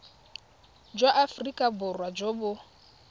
jwa aforika borwa jo bo